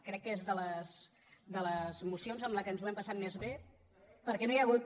crec que és de les mocions en què ens ho hem passat més bé perquè no hi ha hagut